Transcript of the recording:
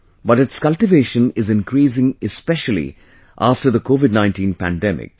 But its cultivation is increasing especially after the COVID19 pandemic